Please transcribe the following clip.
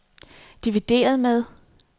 divideret med